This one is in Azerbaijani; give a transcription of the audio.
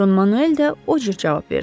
Don Manuel də o cür cavab verdi.